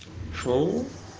шоу